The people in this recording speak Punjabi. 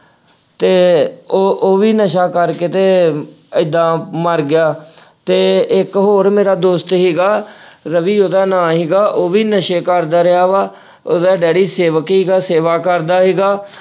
ਤੇ ਉਹ ਅਹ ਉਹ ਵੀ ਨਸ਼ਾ ਕਰਕੇ ਤੇ ਅਹ ਐਦਾਂ ਮਰ ਗਿਆ ਤੇ ਇੱਕ ਹੋਰ ਮੇਰਾ ਦੋਸਤ ਸੀਗਾ ਰਵੀ ਉਹਦਾ ਨਾਂਅ ਸੀਗਾ ਉਹ ਵੀ ਨਸ਼ੇ ਕਰਦਾ ਰਿਹਾ ਵਾ। ਉਹਦਾ ਡੈਡੀ ਸੇਵਕੀ ਘਰ ਸੇਵਾ ਕਰਦਾ ਸੀਗਾ।